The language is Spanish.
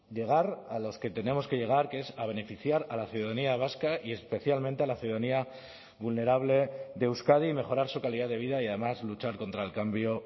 llegar a los que tenemos que llegar que es a beneficiar a la ciudadanía vasca y especialmente a la ciudadanía vulnerable de euskadi y mejorar su calidad de vida y además luchar contra el cambio